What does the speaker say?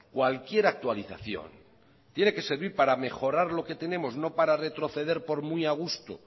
cualquier actualización tiene que servir para mejorar lo que tenemos no para retroceder por muy a gusto